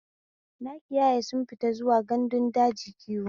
Nakiyaya sun fita zuwa gandun daji kiwo.